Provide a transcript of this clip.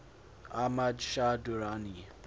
ahmad shah durrani